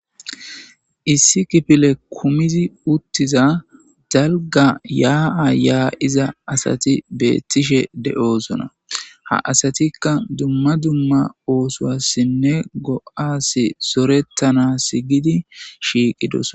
issi kifile kumizi uttiza dalga yaa7a yaa7iza asati beettishe de7osona ha asatikka dumma dumma oosowassinne go7as sorettana sgidi shiiqidos